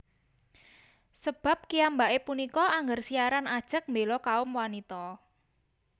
Sebab kiyambake punika angger siaran ajeg mbela kaum wanita